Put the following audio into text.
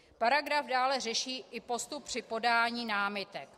Paragraf dále řeší i postup při podání námitek.